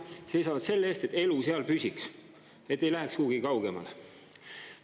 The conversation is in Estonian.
Nad seisavad selle eest, et elu seal püsiks, et ei läheks kuhugi kaugemale.